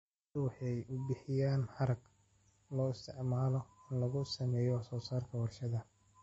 Lo'du waxay bixiyaan harag loo isticmaalo in lagu sameeyo wax soo saarka warshadaha.